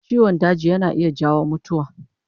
Ciwon daji yana iya jawo mutuwa